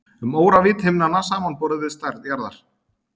Um óravídd himnanna samanborið við stærð jarðar.